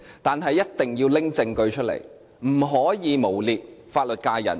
但是，一定要拿出證據，不可以誣衊法律界人士。